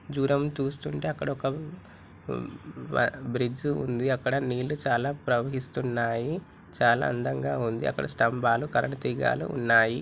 దూరం చూస్తుంటే అక్కడ ఒక బ్రిడ్జి ఉంది అక్కడ నీళ్ళు చాలా ప్రవహిస్తున్నాయి చాలా అందంగా ఉంది అక్కడ స్తంబాలు కరెంటు తీగలు ఉన్నాయి